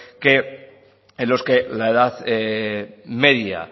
que en los que la edad media